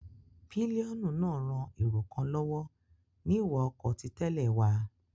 Pílíọ́nù náà ran èrò kan lọ́wọ́ ní ìwà ọkọ ti tẹ́lẹ̀ wa